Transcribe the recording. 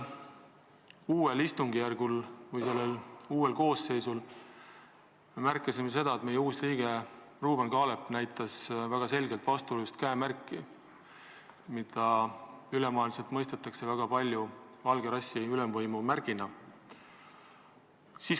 Uue koosseisu esimesel istungil me märkasime, et parlamendi uus liige Ruuben Kaalep näitas väga selgelt vastuolulist käemärki, mida üle maailma mõistetakse väga sageli valge rassi ülemvõimu märgina.